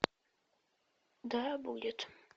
да будет